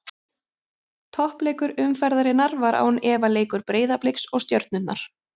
Toppleikur umferðarinnar var án efa leikur Breiðabliks og Stjörnunnar.